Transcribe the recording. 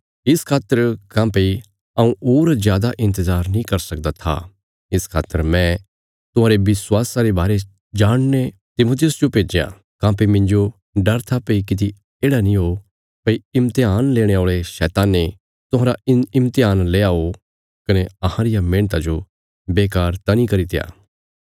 इस खातर काँह्भई हऊँ होर जादा इन्तजार नीं करी सकदा था इस खातर मैं तुहांरे विश्वासा रे बारे जाणने तिमुथियुस जो भेज्या काँह्भई मिन्जो डर था भई किति येढ़ा नीं हो भई इम्तेहान लेणे औल़े शैताने तुहांरा इम्तेहान लेआ हो कने अहां रिया मेहणता जो बेकार त नीं करित्या